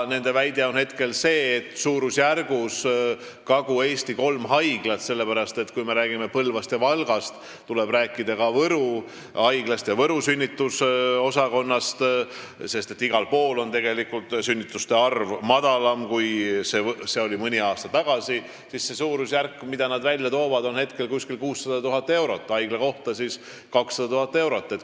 Nende väide on hetkel see, et Kagu-Eesti kolmes haiglas – me räägime Põlvast ja Valgast, aga tuleb rääkida ka Võru haigla sünnitusosakonnast, sest igal pool on sünnituste arv madalam, kui see oli mõni aasta tagasi – on see suurusjärk, mille nad välja toovad, umbes 600 000 eurot, haigla kohta siis 200 000 eurot.